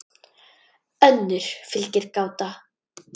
önnur fylgir gáta